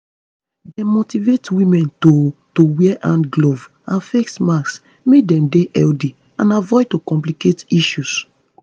dem motivate women to to wear hand gloves and face masks make dem dey healthy and avoid to complicate issues